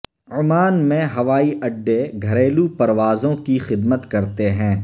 Oman میں ہوائی اڈے گھریلو پروازوں کی خدمت کرتے ہیں